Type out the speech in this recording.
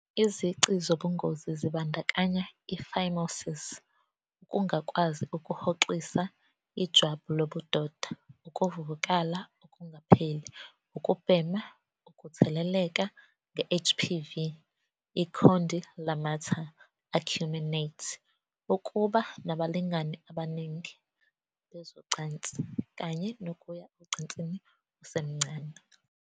Izici zobungozi zibandakanya i-phimosis, ukungakwazi ukuhoxisa ijwabu lobudoda, ukuvuvukala okungapheli, ukubhema, ukutheleleka nge-HPV, i- condylomata acuminate, ukuba nabalingani abaningi bezocansi, kanye nokuya ocansini usemncane.